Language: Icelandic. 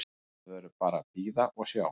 Maður verður bara að bíða og sjá.